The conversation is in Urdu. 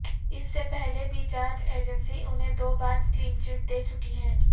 اس سے پہلے بھی جانچ ایجنسی انہیں دو بار کلینچٹ دے چکی ہے